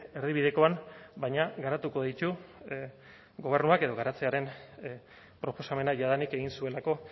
erdibidekoan baina garatuko ditu gobernuak edo garatzearen proposamena jadanik egin zuelako